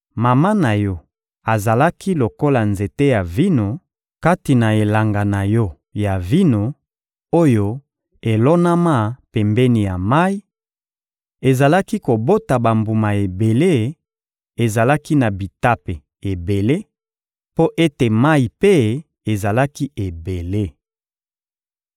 Mama na yo azalaki lokola nzete ya vino kati na elanga na yo ya vino, oyo elonama pembeni ya mayi, ezalaki kobota bambuma ebele, ezalaki na bitape ebele mpo ete mayi mpe ezalaki ebele.